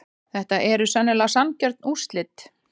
Þetta eru sennilega sanngjörn úrslit.